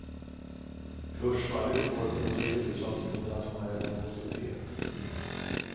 Kursfallet i går berodde i huvudsak på internationell nervositet.